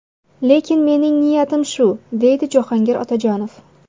Lekin mening niyatim shu!”, deydi Jahongir Otajonov.